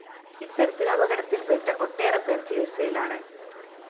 ഇത്തരത്തില്‍ അപകടത്തില്‍പ്പെട്ട ഒട്ടേറെപ്പേര്‍ ചികിത്സയിലാണ്